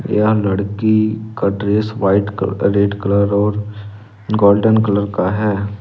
यह लड़की का dress white colour red colour और गोल्डन कलर का है।